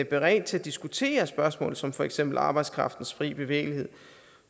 beredt til at diskutere spørgsmål som for eksempel arbejdskraftens fri bevægelighed